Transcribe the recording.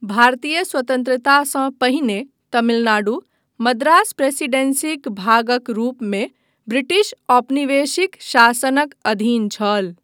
भारतीय स्वतन्त्रतासँ पहिने तमिलनाडु मद्रास प्रेसीडेंसीक भागक रूपमे ब्रिटिश औपनिवेशिक शासनक अधीन छल।